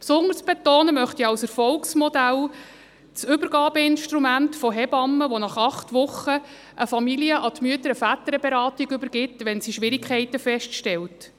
Besonderes betonen möchte ich als Erfolgsmodell das Übergabeinstrument der Hebammen, die nach acht Wochen eine Familie an die Mütter- und Väterberatung übergeben, wenn sie Schwierigkeiten feststellen.